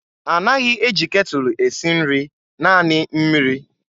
A naghị eji ketụlụ esi nri, naanị mmiri.